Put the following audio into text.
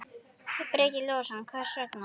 Breki Logason: Hvers vegna?